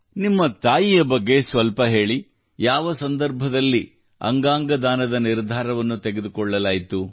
ನಿಮ್ಮ ತಾಯಿಯ ಬಗ್ಗೆ ಸ್ವಲ್ಪ ಹೇಳಿ ಯಾವ ಸಂದರ್ಭದಲ್ಲಿ ಅಂಗಾಂಗ ದಾನದ ನಿರ್ಧಾರವನ್ನು ತೆಗೆದುಕೊಳ್ಳಲಾಯಿತು